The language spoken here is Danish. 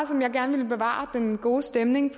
så gerne bevare den gode stemning i